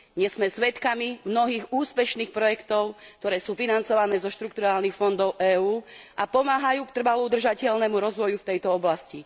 Dnes sme svedkami mnohých úspešných projektov, ktoré sú financované zo štrukturálnych fondov EÚ a pomáhajú k trvalo udržateľnému rozvoju v tejto oblasti.